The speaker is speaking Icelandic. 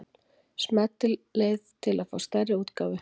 Smellið til að fá stærri útgáfu.